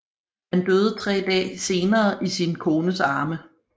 Han døde tre dag senere i sin kones arme